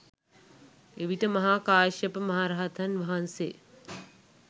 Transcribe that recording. එවිට මහා කාශ්‍යප මහරහතන් වහන්සේ